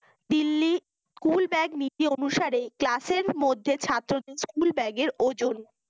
Delhi school bag নীতি অনুসারে class এর মধ্যে ছাত্রদের school bag এর ওজন